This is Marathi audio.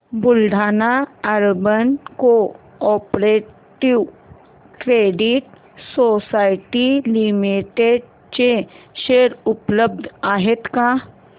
Buldhana urban cooperative credit society limited चे शेअर उपलब्ध आहेत का